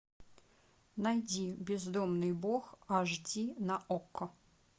найди бездомный бог аш ди на окко